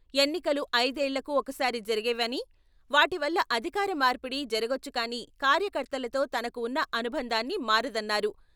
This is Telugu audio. ఎన్నికలు ఐదేళ్లకు ఒకసారి జరిగేవని, వాటివల్ల అధికార మార్పిడి జరగొచ్చు కానీ కార్యకర్తలతో తనకు ఉన్న అనుబంధాన్ని మారదన్నారు.